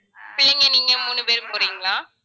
பிள்ளைங்க நீங்க மூணு பேரும் போறீங்களா